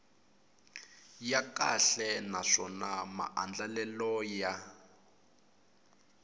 ya kahle naswona maandlalelo ya